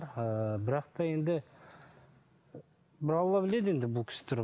ыыы бірақ та енді бір алла біледі енді бұл кісі